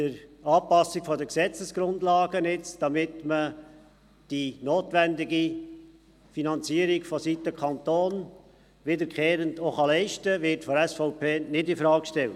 Die Anpassung der Gesetzesgrundlage, damit die notwendige Finanzierung vonseiten des Kantons wiederkehrend geleistet werden kann, wird von der SVP nicht infrage gestellt.